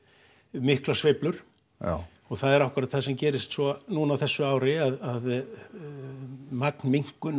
miklar sveiflur já og það er akkúrat það sem gerist svo núna á þessu ári að